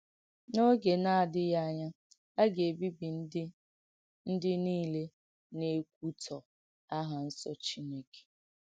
N’ògè nà-àdìghì ányà, à gà-èbìbì ndí ndí nìlè nà-èkwùtọ̀ áhà Nsọ̀ Chínékè.